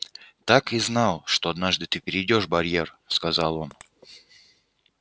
так и знал что однажды ты перейдёшь барьер сказал он